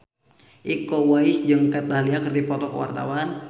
Iko Uwais jeung Kat Dahlia keur dipoto ku wartawan